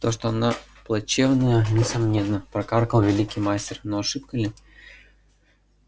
то что она плачевная несомненно прокаркал великий мастер но ошибка ли